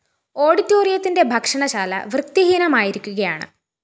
ഓഡിറ്റോറിത്തിന്റെ ഭക്ഷണ ശാല വൃത്തി ഹീനമായിരിക്കുകയാണ്